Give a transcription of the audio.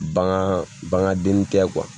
Bagan bagan denni tɛ